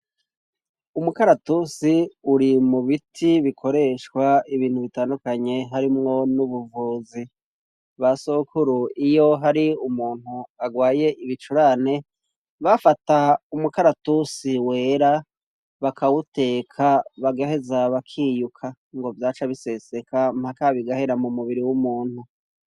Umukaratusi uri mu biti bikoreshwa ibintu bitandukanye harimwo n'ubuvuzi. Basokuru iyo hari umuntu agwaye ibicurane bafata umukaratusi wera bakawuteka bagaheza bakiyuka ngo vyaca biseseka mpaka bigahera mu mubiri w'umuntu.